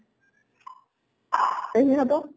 পেহী হঁতক?